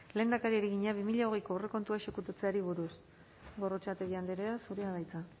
lehendakariari egina bi mila hogeiko aurrekontua exekutatzeari buruz gorrotxategi andrea zurea da hitza